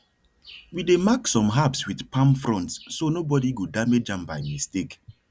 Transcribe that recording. we dey mark some herbs with palm fronds so nobody go damage am by mistake